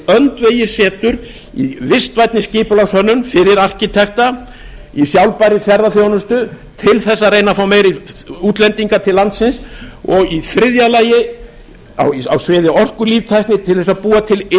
öndvegissetur í vistvænni skipulagshönnun fyrir arkitekta í sjálfbærri ferðaþjónustu til þess að reyna að fá fleiri útlendinga til landsins og í þriðja lagi á sviði orkulíftækni til þess að búa til